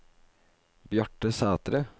Bjarte Sætre